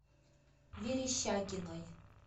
верещагиной